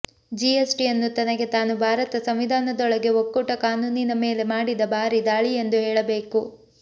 ಜಿಎಸ್ಟಿಯನ್ನು ತನಗೆ ತಾನು ಭಾರತ ಸಂವಿಧಾನದೊಳಗಡೆ ಒಕ್ಕೂಟ ಕಾನೂನಿನ ಮೇಲೆ ಮಾಡಿದ ಭಾರಿ ದಾಳಿಯೆಂದು ಹೇಳಬೇಕು